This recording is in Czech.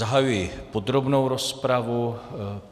Zahajuji podrobnou rozpravu.